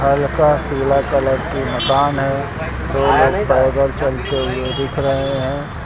हल्का पीला कलर का मकान है दो लोग पैदल चलते हुए दिख रहे हैं।